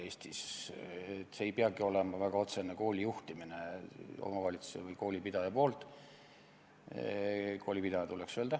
See ei peagi olema väga otsene kooli juhtimine omavalitsuse või koolipidaja poolt.